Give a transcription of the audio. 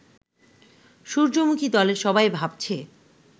সূর্যমুখী-দলের সবাই ভাবছে